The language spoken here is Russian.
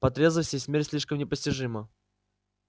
по трезвости смерть слишком непостижима